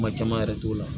Kuma caman yɛrɛ t'o la